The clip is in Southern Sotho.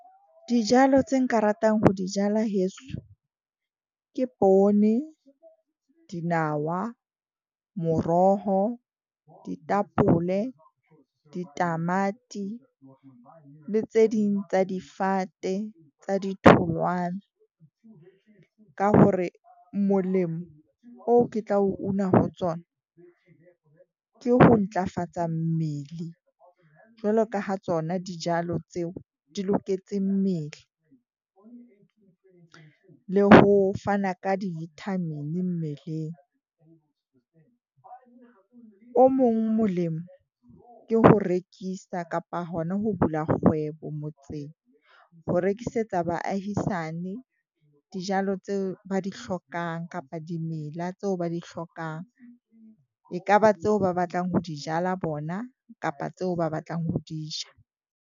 Dijalo tse nka ratang ho di jala heso ke poone, dinawa, moroho, ditapole, ditamati le tse ding tsa difate tsa ditholwana, ka hore molemo oo ke tla o una ho tsona, ke ho ntlafatsa mmele. Jwalo ka ha tsona dijalo tseo di loketseng mmele, le ho fana ka di-vitamin-i mmeleng. O mong molemo ke ho rekisa kapa hona ho bula kgwebo motseng, ho rekisetsa baahisane dijalo tseo ba di hlokang, kapa dimela, tseo ba di hlokang. E ka ba tseo ba batlang ho di jala bona kapa tseo ba batlang ho di ja.